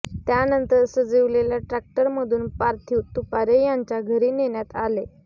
त्यानंतर सजविलेल्या ट्रॅक्टरमधून पार्थिव तुपारे यांच्या घरी नेण्यात आले